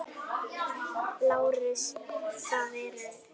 LÁRUS: Það eru.